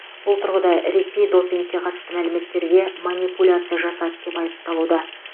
бұл тұрғыда ресей допингке қатысты мәліметтерге манипуляция жасады деп айыпталуда